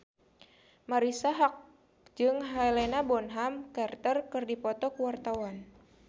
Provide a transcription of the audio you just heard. Marisa Haque jeung Helena Bonham Carter keur dipoto ku wartawan